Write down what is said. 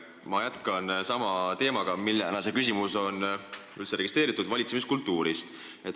Ma jätkan sama teemaga, millena see küsimus on üldse registreeritud: valitsemiskultuur.